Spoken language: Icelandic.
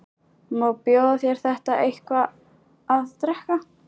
Má bjóða þér eitthvað að drekka?